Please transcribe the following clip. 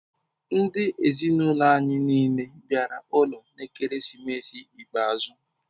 Ndi ezinaụlọ anyị niile bịara ụlọ n'ekeresimesi ikpeazụ.